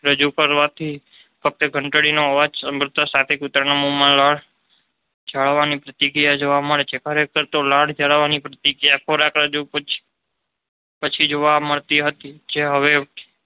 રજૂ કરવાથી ફક્ત ધંટડીનો અવાજ સાંભળતાંની સાથે કૂતરાના મોંમાં લાળ ઝરવાની પ્રતિક્રિયા જોવા મળે છે. ખરેખર તો લાળ ઝરવાની પ્રતિક્રિયા ખોરાકની રજૂઆત પછી જોવા મળતી હતી. જે હવે